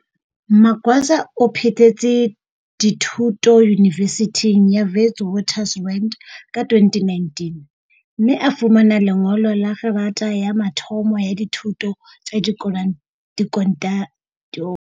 Magwaza o phethetse dithu to Yunivesithing ya Witwaters rand ka 2019, mme a fumana lengolo la kgerata ya mathomo ya dithuto tsa di.